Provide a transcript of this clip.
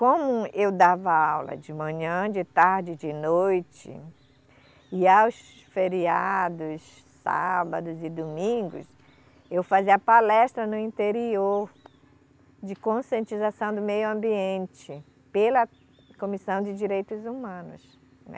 Como eu dava aula de manhã, de tarde e de noite, e aos feriados, sábados e domingos, eu fazia palestra no interior de conscientização do meio ambiente pela Comissão de Direitos Humanos, né.